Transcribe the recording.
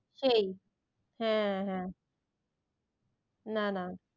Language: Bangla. সেই হ্যাঁ হ্যাঁ না না